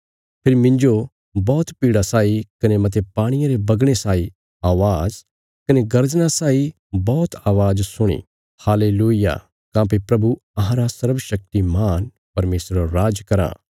फेरी मिन्जो बौहत भीड़ा साई कने मते पाणिये रे बगणे साई अवाज़ कने गर्जना साई बौहत अवाज़ सुणी हालेलूय्याह काँह्भई प्रभु अहांरा सर्वशक्तिमान परमेशर राज कराँ